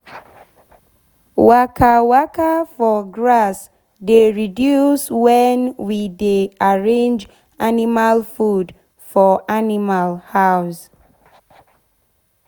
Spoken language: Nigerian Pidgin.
waka waka for grass dey reduce wen we dey arrange animal food for animal house.